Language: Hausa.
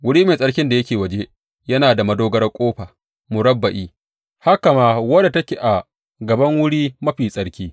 Wuri mai tsarki da yake waje yana da madogarar ƙofa murabba’i, haka ma wadda take a gaban Wuri Mafi Tsarki.